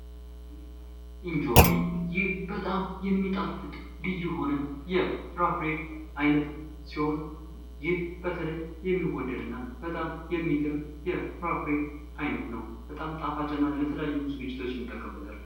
እንጆሪ ይህ በጣም የሚጣፍጥ ልዩ የሆነ የፍራፍሬ አይነት ሲሆን ይህ በተለይ በጣም የሚወደድ እና በጣም የሚገርም የፍራፍሬ አይነት ነው በጣም ጣፋጭና ለተለያዩ ዝግጅቶች እንጠቀምበታለን።